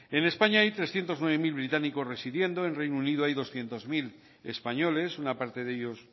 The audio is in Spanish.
en españa hay trescientos nueve mil británicos residiendo en reino unido hay doscientos mil españoles una parte de ellos